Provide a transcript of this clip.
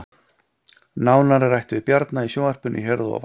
Nánar er rætt við Bjarna í sjónvarpinu hér að ofan